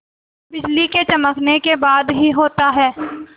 बिजली के चमकने के बाद ही होता है